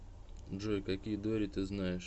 джой какие дори ты знаешь